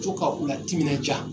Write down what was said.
Co ka u la timinanja.